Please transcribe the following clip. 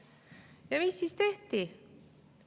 Ja mis siis tehti?